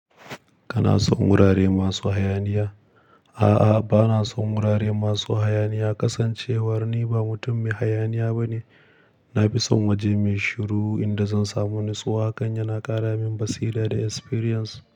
Kana son wurare masu hayaniya? A'a, ba na son wurare masu hayaniya. Kasancewar ni ba mutum mai hayaniya ba ne, na fi son waje mai shiru inda zan samu natsuwa. Hakan yaba ƙara min basira da experience.